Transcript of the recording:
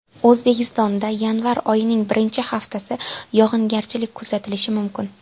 O‘zbekistonda yanvar oyining birinchi haftasi yog‘ingarchilik kuzatilishi mumkin.